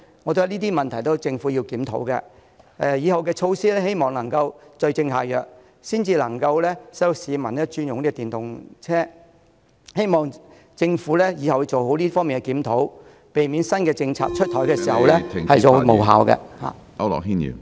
我覺得這些問題都是政府要檢討的，以後的措施要對症下藥，才能夠令市民轉用電動車，希望政府以後做好這方面的檢討，避免新政策出台後無效。